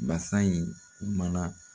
Basa in kuma na